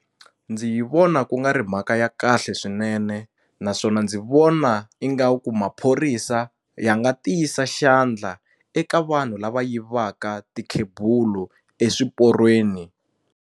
Ndzi yi vona ku nga ri mhaka ya kahle swinene naswona ndzi vona ingaku maphorisa ya nga tiyisa xandla eka vanhu lava yivaka tikhebulu eswiporweni.